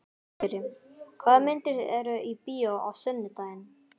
Vigri, hvaða myndir eru í bíó á sunnudaginn?